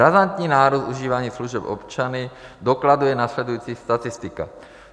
Razantní nárůst užívání služeb občany dokladuje následující statistika.